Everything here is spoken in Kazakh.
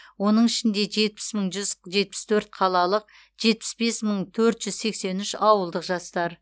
оның ішінде жетпіс мың жүз жетпіс төрт қалалық жетпіс бес мың төрт жүз сексен үш ауылдық жастар